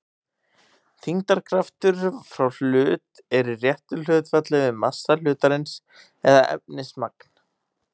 Þyngdarkraftur frá hlut er í réttu hlutfalli við massa hlutarins eða efnismagn.